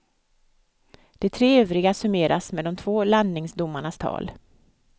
De tre övriga summeras med de två landningsdomarnas tal.